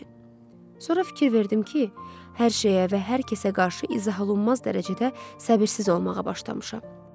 Sonra fikir verdim ki, hər şeyə və hər kəsə qarşı izah olunmaz dərəcədə səbirsiz olmağa başlamışam.